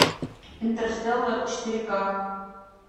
интерстеллар четыре ка